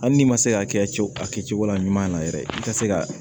Hali n'i ma se ka hakɛ to a kɛcogo la ɲuman na yɛrɛ i ka se ka